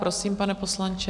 Prosím, pane poslanče.